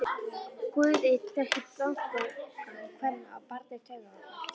Guð einn þekkti þankagang kvenna á barmi taugaáfalls.